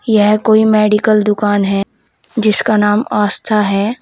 यह कोई मेडिकल दुकान है जिसका नाम आस्था है।